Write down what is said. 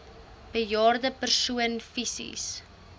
bejaarde persoon fisies